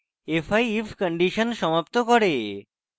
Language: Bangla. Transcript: fi if condition সমাপ্ত করে